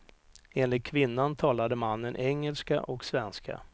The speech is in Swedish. Enligt kvinnan talade mannen engelska och svenska.